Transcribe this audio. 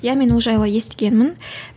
иә мен ол жайлы естігенмін